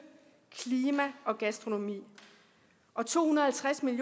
klima og gastronomi og to hundrede